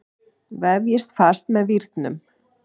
Vefjið fast með vírnum.